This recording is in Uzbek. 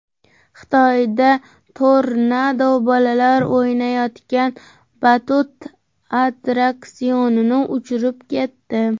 Xitoyda tornado bolalar o‘ynayotgan batut attraksionini uchirib ketdi .